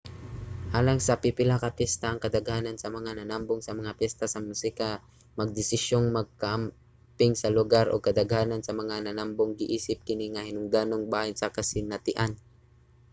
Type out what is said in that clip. alang sa pipila ka piyesta ang kadaghanan sa mga nanambong sa mga piyesta sa musika magdesisyong magkamping sa lugar ug kadaghanan sa mga nanambong giisip kini nga hinungdanong bahin sa kasinatian